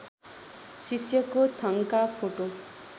शिष्यको थङका फोटो